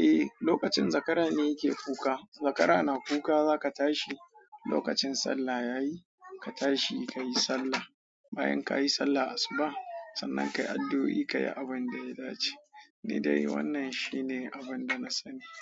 Eh, lokacin zakara ne yake kuka. Zakara na kuka, zaka tashi. Lokacin sallah yayi ka tashi kayi sallah. Bayan kayi sallah asuba, sannan kayi addu'o'i kayi abin da ya dace. Ni dai wannan shine abin da na sani.